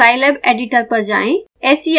scilab editor पर जाएँ